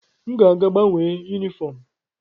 M ga-aga gbanwee yunifọọm m.